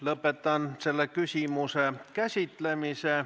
Lõpetan selle küsimuse käsitlemise.